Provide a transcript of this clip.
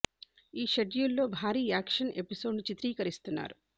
ఈ షెడ్యూల్ లో భారీ యాక్షన్ ఎపిసోడ్ ను చిత్రీకరిస్తున్నారు